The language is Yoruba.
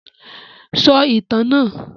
Sọ ìtàn náà!